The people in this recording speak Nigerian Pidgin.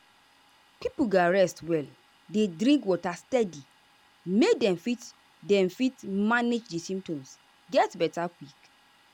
pipo gatz rest well dey drink water steady make dem fit dem fit manage di symptoms get beta quick.